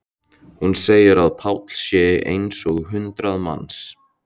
Hún segir að Páll sé eins og hundrað manns.